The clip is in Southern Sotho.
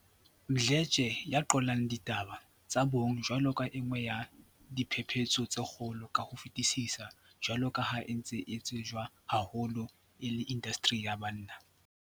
Mdle tshe, ya qollang ditaba tsa bong jwalo ka e nngwe ya diphephetso tse kgolo ka ho fetisisa jwalo ka ha e ntse e tsejwa haholo e le indasteri ya banna.